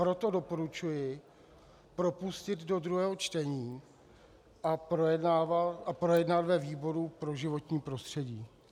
Proto doporučuji propustit do druhého čtení a projednat ve výboru pro životní prostředí.